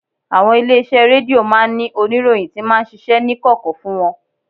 Àwọn ilé-iṣẹ́ rédíò máa ń ní oníròyìn tí máa ń ṣiṣẹ́ ní kọ̀kọ̀ fún wọn